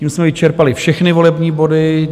Tím jsme vyčerpali všechny volební body.